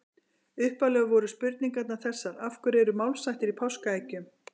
Upphaflega voru spurningarnar þessar: Af hverju eru málshættir í páskaeggjum?